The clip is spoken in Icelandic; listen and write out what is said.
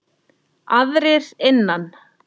Aðrir innan